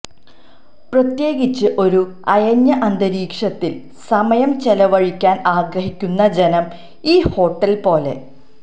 പ്രത്യേകിച്ച് ഒരു അയഞ്ഞ അന്തരീക്ഷത്തിൽ സമയം ചെലവഴിക്കാൻ ആഗ്രഹിക്കുന്ന ജനം ഈ ഹോട്ടൽ പോലെ